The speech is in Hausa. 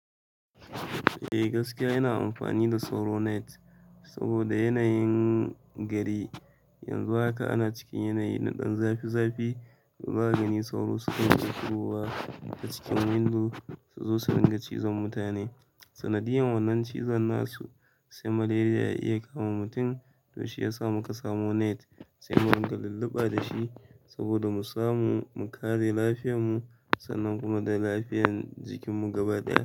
Eh gaskiya ina amfani da sauro net saboda yanayin gari. Yanzu haka ana cikin yanayi na ɗan zafi zafi to zaka gani sauro sukan iya shigowa ta cikin window su zo su ringa cizon mutane. Sanadiyan wannan cizon nasu se malaria ya iya kama mutun. To shiyasa muka samo net se mu dinga lulluɓa dashi saboda mu samu mu kare lafiyan mu sannan kuma da lafiyan jikin mu gaba ɗaya.